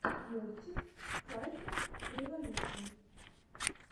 мультик файтреволюшн